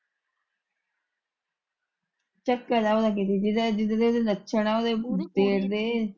ਚੱਕਰ ਏ ਉਹਦਾ ਕਿਤੇ ਜਿੱਦਾ ਦੇ ਉਹਦੇ ਲੱਛਣ ਏ ਉਹਦੇ ਜੇਠ ਦੇ।